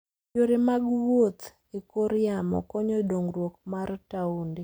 Yore mag wuoth e kor yamo konyo dongruok mar taonde.